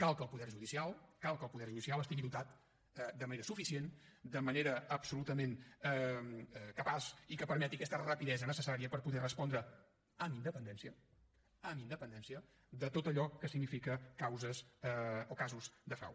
cal que el poder judicial cal que el poder judicial estigui dotat de manera suficient de manera absolutament capaç i que permeti aquesta rapidesa necessària per poder respondre amb independència amb independència de tot allò que significa causes o casos de frau